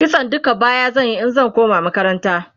kitson duka baya zan Yi in zan koma makaranta